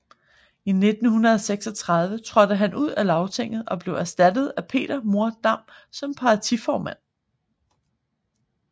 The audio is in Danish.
I 1936 trådte han ud av Lagtinget og blev erstattet af Peter Mohr Dam som partiformand